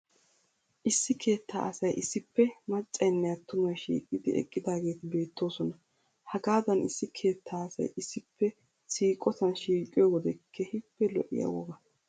Issi keettaa asay issippe maccaynne attumay shiiqidi eqqidaageeti beettoosona. Hagaadan issi keettaa asay issippe siiqotan shiiqiyo wode keehippe lo"iya woga.